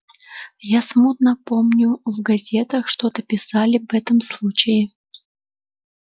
я смутно помню в газетах что-то писали об этом случае